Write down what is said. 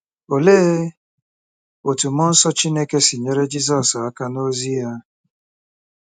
Olee otú mmụọ nsọ Chineke si nyere Jizọs aka n’ozi ya?